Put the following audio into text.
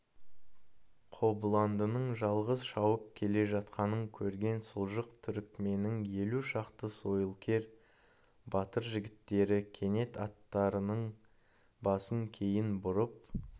қобыландының жалғыз шауып келе жатқанын көрген сұлжық түрікменнің елу шақты сойылкер батыр жігіттері кенет аттарының басын кейін бұрып